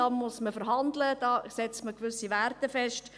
Da muss man verhandeln, da setzt man gewisse Wert fest.